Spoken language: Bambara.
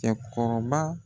Cɛkɔrɔba